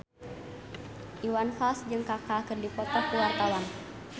Iwan Fals jeung Kaka keur dipoto ku wartawan